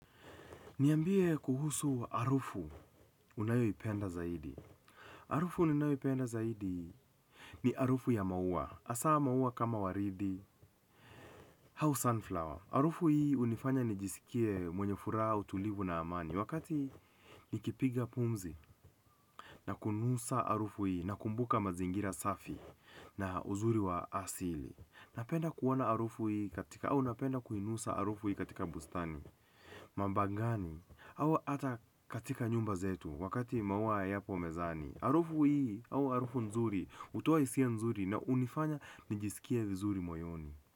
Niambie kuhusu harufu unayoipenda zaidi. Harufu ninayoipenda zaidi ni harufu ya maua. Hasa maua kama waridi, au sunflower. Harufu hii hunifanya nijisikie mwenye furaha, utulivu na amani. Wakati nikipiga pumzi na kunusa harufu hii nakumbuka mazingira safi na uzuri wa asili napenda kuona harufu hii katika au napenda kuinusa harufu hii katika bustani, mamba ngani, au hata katika nyumba zetu. Wakati maua yapo mezani harufu hii au harufu nzuri hutoa hisia nzuri na hunifanya nijisikie vizuri moyoni.